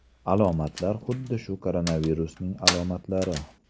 Alomatlar xuddi shu koronavirusning alomatlari.